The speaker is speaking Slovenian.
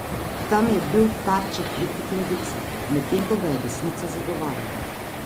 Tam je bil tarča kritik levice, medtem ko ga je desnica zagovarjala.